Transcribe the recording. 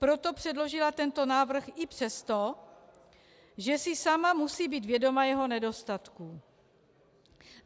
Proto předložila tento návrh i přesto, že si sama musí být vědoma jeho nedostatků.